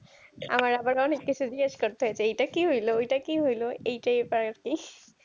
আমার আবার অনেক কিছু জিজ্ঞেস করতে হয় যে এইটা কি হইল ওইটা কি হইলো এইটাই ব্যাপার আর কি।